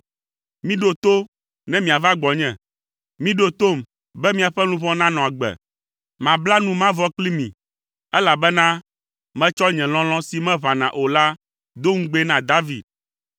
Miɖo to ne miava gbɔnye. Miɖo tom be miaƒe luʋɔ nanɔ agbe. Mabla nu mavɔ kpli mi, elabena metsɔ nye lɔlɔ̃ si meʋãna o la do ŋugbee na David.